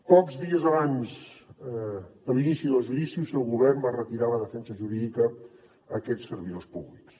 pocs dies abans de l’inici del judici el seu govern va retirar la defensa jurídica a aquests servidors públics